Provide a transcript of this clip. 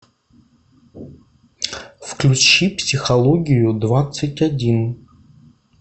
включи психологию двадцать один